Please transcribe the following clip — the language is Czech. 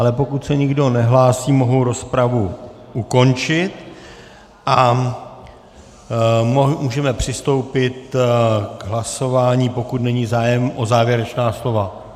Ale pokud se nikdo nehlásí, mohu rozpravu ukončit a můžeme přistoupit k hlasování, pokud není zájem o závěrečná slova.